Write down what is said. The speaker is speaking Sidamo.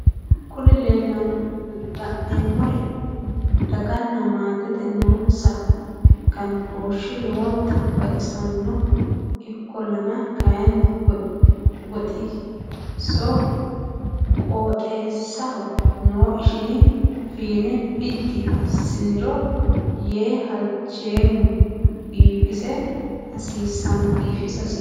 Kuri la'neemmori dagana maatete noonsa ganbooshi lowonta baxissanno ikkollana kayinni qooxeessaho noo ishini fiine biddi assiniro yee halcheemma biifisa hasiissanno